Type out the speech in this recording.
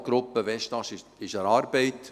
Die Dialoggruppe Westast ist an der Arbeit.